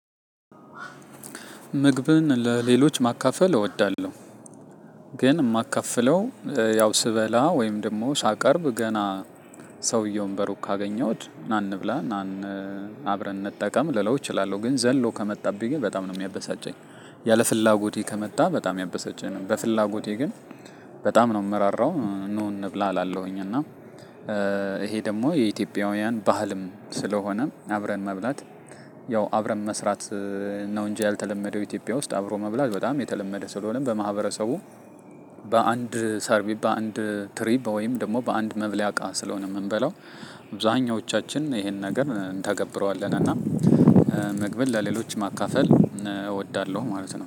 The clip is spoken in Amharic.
ምግብን ለሌሎች ማካፈል እወዳለሁ። ግን የማካፍለው ያው ስበላ ወይም ደግሞ ሳቀርብ ገና ሰውየውን በሩቅ ካገኘሁት ና እንብላ ና እን አብረን እንጠቀም ልለው እችላለሁ ግን ዘሎ ከመጣብኝ ግን በጣም ነው የሚያበሳጨኝ። ያለፍላጎቴ ከመጣ በጣም ያበሳጨኛል። በፍላጎቴ ግን በጣም ነው የምራራው ኑ እንብላ እላለሁኝ እና። ይሄ ደግሞ የኢትዮጵያውያን ባህልም ስለሆነ አብረን መብላት ያው አብረን መስራት ነው። እንጂ ያልተለመደው ኢትዮጵያ ውስጥ አብሮ መብላት በጣም የተለመደ ስለሆነም በማህበረሰቡ። በአንድ ሰርቢብ በአንድ ትሪ ወይም ደግሞ በአንድ መብልያ እቃ ስለሆነ የምንበላው አብዛኛዎቻችን ይሄንን ነገር እንተገብረዋለን። እና ምግብን ለሌሎች ማካፈል እወዳለሁ ማለት ነው